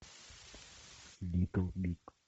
литл биг